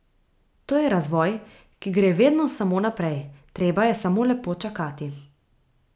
To je razvoj, ki gre vedno samo naprej, treba je samo lepo čakati.